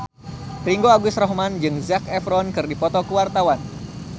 Ringgo Agus Rahman jeung Zac Efron keur dipoto ku wartawan